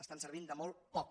estan servint de molt poc